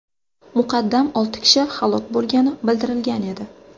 Muqaddam olti kishi halok bo‘lgani bildirilgan edi .